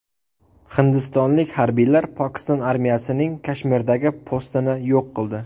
Hindistonlik harbiylar Pokiston armiyasining Kashmirdagi postini yo‘q qildi.